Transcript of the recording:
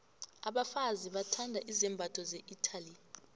abafazi bathanda izambatho ze italy